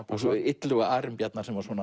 og Illuga Arinbjarnar sem var